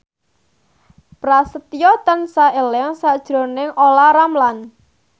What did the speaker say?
Prasetyo tansah eling sakjroning Olla Ramlan